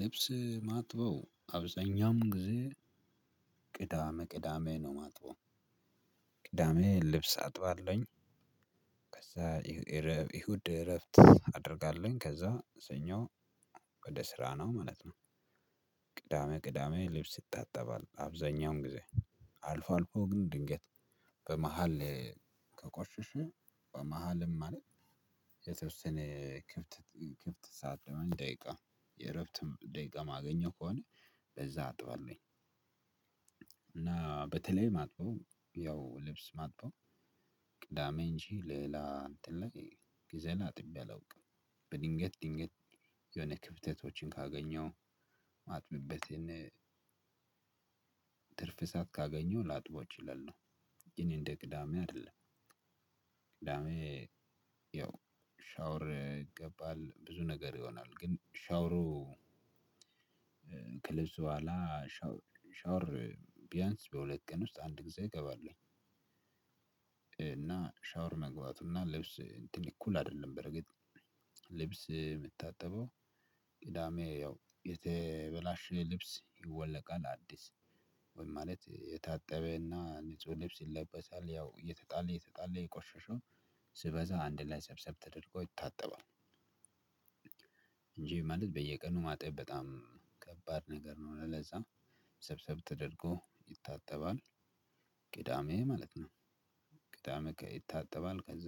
ልብስ ማጥበው አብዛኛውም ጊዜ ቅዳሜ ቅዳሜ ነው ማጥበው። ቅዳሜ ልብስ አጥባለሁኝ። ከዛ እሁድ እረፍት አደርጋለሁኝ ከዛ ሰኞ ወደ ስራ ነው ማለት ነው። ቅዳሜ ቅዳሜ ልብስ ይታጠባል አብዛኛውን ጊዜ አልፎ አልፎ ግን ድንገት በመሃል ከቆሽሽ በመሃልም አለ። የተወሰነ ክፍት ክፍት ሰዓት ደቂቃ የእረፍትም ደቂቃ ማገኘው ከሆነ በዛ አጥባለሁኝ። እና በተለይ ማለት ነው ያው ልብስ ማጥበው ቅዳሜ እንጂ ሌላ እንትን ላይ ጊዜ አጥቤ አላውቅም። በድንገት ድንገት የሆነ ክፍተቶችን ካገኘሁ ማጥብበትን ትርፍ ሰዓት ካገኘው ላጥበው እችላለሁ። ግን እንደ ቅዳሜ አይደለም። ቅዳሜ ያው ሻወር ይገባል ብዙ ነገር ይሆናል ግን ሻወሩ ከልብስ በኋላ ሻውር ቢያንስ በሁለት ቀን ውስጥ አንድ ጊዜ እገባለሁ። እና ሻወር መግባቱና ልብስ እንትን እኩል አይደለም። በርግጥ ልብስ የሚታጠበው ቅዳሜ ያው የተበላሸ ልብስ ይወለቃል አዲስ ወይም ማለት የታጠበና ንጹህ ልብስ ይለበሳል ያው እየተጣለ እየተጣለ የቆሸሸው ሲበዛ አንድ ላይ ሰብሰብ ተደርጎ ይታጠባል። እንጂ ማለት በየቀኑ ማጥበብ በጣም ከባድ ነገር ነው። ለዛ ሰብሰብ ተደርጎ ይታጠባል። ቅዳሜ ማለት ነው። ቅዳሜ ይታጠባል ከዛ